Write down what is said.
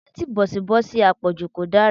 Antibìọ́tììsì àpọ̀jù kò dára.